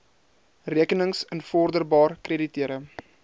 rekenings invorderbaar krediteure